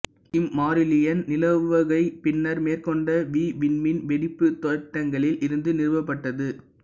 இம்மாறிலியின் நிலவுகை பின்னர் மேற்கொண்ட மீவிண்மீன் வெடிப்புத் தேட்டங்களில் இருந்து நிறுவப்பட்டது